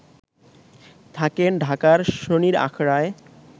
থাকেন ঢাকার শনির আখড়ায়